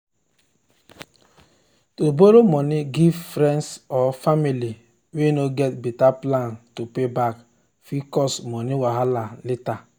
to borrow money give friends or family way no get better plan to pay back fit cause money wahala later.